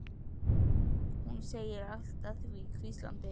segir hún allt að því hvíslandi.